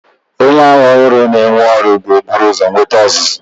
Onye agha ọhụrụ a na-ewe ọrụ ga-ebu ụzọ nweta ọzụzụ.